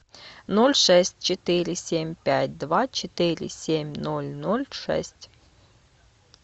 ноль шесть четыре семь пять два четыре семь ноль ноль шесть